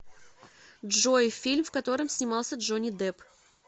джой фильм в котором снимался джони деп